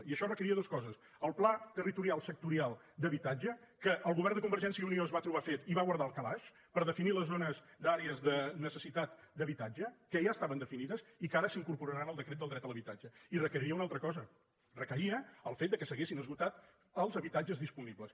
i això requeria dues coses el pla territorial sectorial d’habitatge que el govern de convergència i unió es va trobar fet i va guardar al calaix per definir les zones d’àrees de necessitat d’habitatge que ja estaven definides i que ara s’incorporaran al decret del dret a l’habitatge i requeria una altra cosa requeria el fet que s’haguessin esgotat els habitatges disponibles